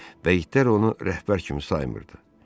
Və itlər onu rəhbər kimi saymırdı.